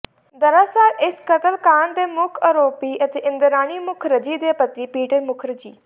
ਦਰਅਸਲ ਇਸ ਕਤਲ ਕਾਂਡ ਦੇ ਮੁੱਖ ਆਰੋਪੀ ਅਤੇ ਇੰਦਰਾਣੀ ਮੁਖਰਜੀ ਦੇ ਪਤੀ ਪੀਟਰ ਮੁਖਰਜੀ